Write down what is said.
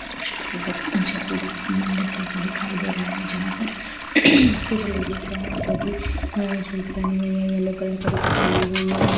मंडप जैसा दिखाई दे रहा हैं जहा परकुछ लेडीज है जो कि येलो कलर का दुपट्टा पहनी हुई है।